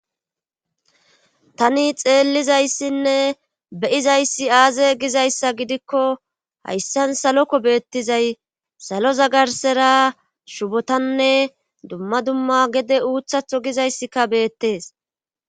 Tani xeellizayssinne beyizayssi aaze gizayssa gidikko hayssan saloko beettizay salo zagarsera shubotanne dumma dumma gede uuthatho gizayssika beettees.